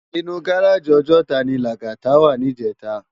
Inú gáráji Òjòtá ni Lagata wá nijètá